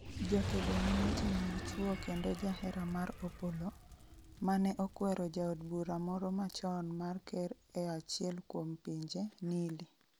jakedo ne weche mag chwo kendo jahera mar Opollo ,mane okwero jaod bura moro machon mar ker e achiel kuom pinje, Nili